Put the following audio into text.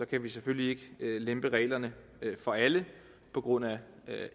kan vi selvfølgelig ikke lempe på reglerne for alle på grund af